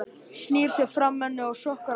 Snýr sér frá henni og skokkar af stað.